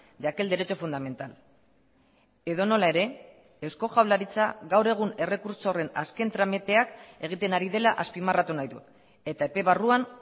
de aquel derecho fundamental edonola ere eusko jaurlaritza gaur egun errekurtso horren azken tramiteak egiten ari dela azpimarratu nahi dut eta epe barruan